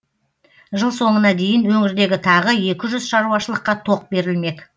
жыл соңына дейін өңірдегі тағы екі жүз шаруашылыққа тоқ берілмек